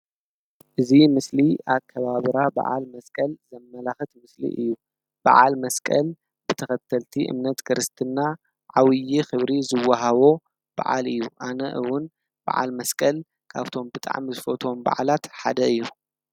እዚ ምስሊ ኣከባብራ በዓል መስቀል ዘመላኽት ምስሊ እዩ፡፡ በዓል መስቀል ብተኸተልቲ እምነት ክርስትና ዓብይ ክብሪ ዝዋሃቦ በዓል እዩ፡፡ ኣነ እውን በዓል መስቀል ካብቶም ብጣዕሚ ዝፈትዎም በዓላት ሓደ እዩ፡፡